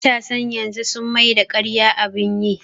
Matasan yanzu sun maida ƙarya abun yi